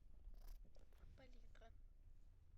палитра